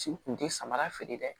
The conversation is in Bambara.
Si kun ti samara feere dɛ